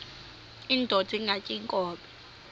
indod ingaty iinkobe